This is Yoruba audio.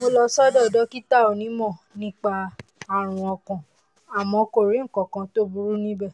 mo lọ sọ́dọ̀ dókítà onímọ̀ nípa ààrùn ọkàn àmọ́ kò rí nǹkan kan tó burú níbẹ̀